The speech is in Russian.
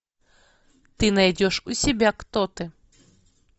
ты найдешь у себя кто ты